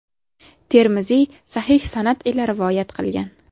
Termiziy sahih sanad ila rivoyat qilgan.